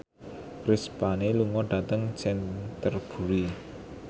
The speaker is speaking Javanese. Chris Pane lunga dhateng Canterbury